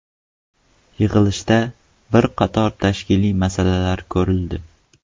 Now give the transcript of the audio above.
Yig‘ilishda bir qator tashkiliy masalalar ko‘rildi.